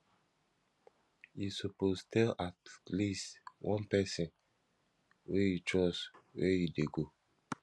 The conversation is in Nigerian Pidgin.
you suppose tell at least one pesin wey you trust where you dey go